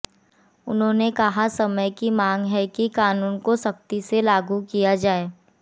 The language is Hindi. उन्होंने कहा समय की मांग है कि कानून को सख्ती से लागू किया जाए